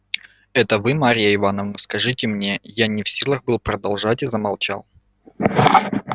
это вы марья ивановна скажите мне я не в силах был продолжать и замолчал